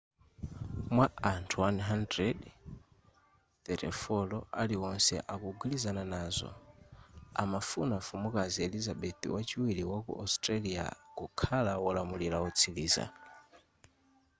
mwa anthu 100,34 aliwonse akugwilizana nazo amafuna mfumukazi elizabeth wachiwiri waku australia kukhala wolamula wotsiliza